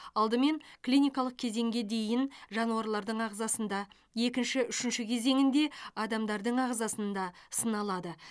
алдымен клиникалық кезеңге дейін жануарлардың ағзасында екінші үшінші кезеңінде адамдардың ағзасында сыналады